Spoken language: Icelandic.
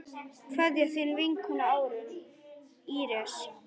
Kveðja, þín vinkona Íris.